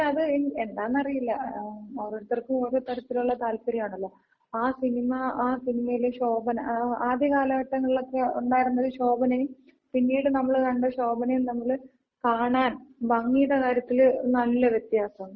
പക്ഷെ അത് എന്താന്നറിയില്ല. ഓരോരുത്തർക്കും ഓരോ തരത്തിലുള്ള താല്പര്യാണല്ലോ. ആ സിനിമ, ആ സിനിമയിലെ ശോഭന ആദ്യകാലഘട്ടങ്ങളില് ഒക്കെ ഒണ്ടായിരുന്നൊര് ശോഭനയും, പിന്നീട് നമ്മള് കണ്ട ശോഭയും തമ്മില് കാണാൻ ഭംഗീട കാര്യത്തില് നല്ല വ്യത്യാസൊണ്ട്.